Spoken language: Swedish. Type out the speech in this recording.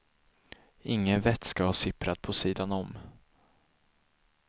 Ingen vätska har sipprat på sidan om.